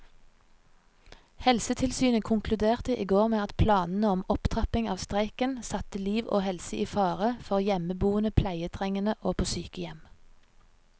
Helsetilsynet konkluderte i går med at planene om opptrapping av streiken satte liv og helse i fare for hjemmeboende pleietrengende og på sykehjem.